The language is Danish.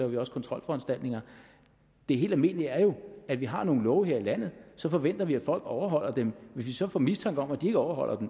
vi også kontrolforanstaltninger det helt almindelige er jo at vi har nogle love her i landet og så forventer vi at folk overholder dem hvis vi så får mistanke om at de ikke overholder